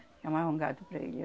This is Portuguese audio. Chamavam gato para ele,